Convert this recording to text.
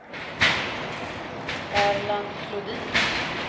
Erland Flodin